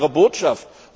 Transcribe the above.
Was war Ihre Botschaft?